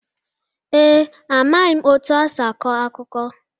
Ee, amaghị m otu esi akọ akụkọ